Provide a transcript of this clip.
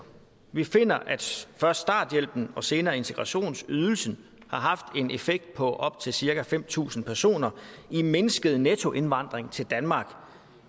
vi finder at først starthjælpen og senere integrationsydelsen har haft en effekt på op til cirka fem tusind personer i mindsket nettoindvandring til danmark